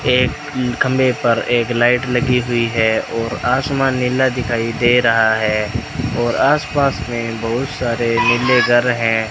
एक खंभे पर एक लाइट लगी हुई है और आसमान नीला दिखाई दे रहा है और आसपास में बहुत सारे नीले घर हैं।